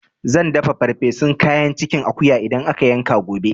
Zan dafa ferfesun kayan cikin akuya idan aka yanka gobe